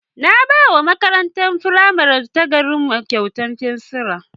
Na ba wa makarantar firamare ta garinmu kyautar fensira.